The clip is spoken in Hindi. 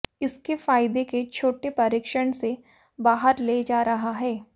इसके फायदे के छोटे परीक्षण से बाहर ले जा रहा है